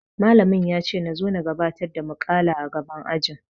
Malamim yace nazo na gabatar da muƙala a gaban ajin.